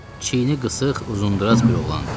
Çiyini qısıq, uzundraz bir oğlandı.